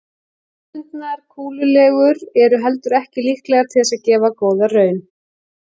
Hefðbundnar kúlulegur eru heldur ekki líklegar til þess að gefa góða raun.